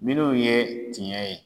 Minnu ye tiɲɛ ye